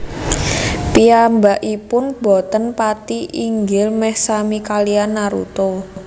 Piyambakipun boten pati inggil meh sami kaliyan Naruto